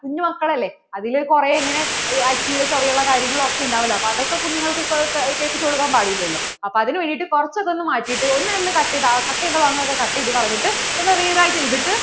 കുഞ്ഞു മക്കൾ അല്ലേ അതില് കുറേ ഇങ്ങനെ അശ്ലീല ചൊവയുള്ള കാര്യങ്ങൾ ഓക്കേ ഉണ്ടാകുവല്ലോ അപ്പോ അതൊക്കെ കുഞ്ഞുങ്ങൾക്കു കേൾപ്പിച്ചു കൊടുക്കാൻ പാടില്ലാലോ അപ്പോൾ അതിനു വേണ്ടിട്ട് കുറച്ചു ഒക്കെ ഒന്നു മാറ്റിയിട്ട് ഒന്നു cut ചെയ്തിട്ട് cut ചെയ്യേണ്ട ഭാഗങ്ങൾ ഒക്കെ cut ചെയ്‌തു കളഞ്ഞിട്ട് ഒന്നു rewrite ചെയ്തിട്ട്